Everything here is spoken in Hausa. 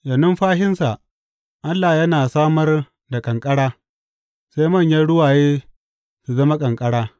Da numfashinsa Allah yana samar da ƙanƙara sai manyan ruwaye su zama ƙanƙara.